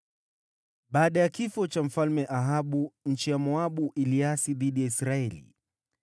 Baada ya kifo cha Mfalme Ahabu, nchi ya Moabu iliasi dhidi ya Israeli.